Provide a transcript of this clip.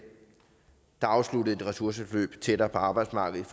der afsluttede et ressourceforløb tættere på arbejdsmarkedet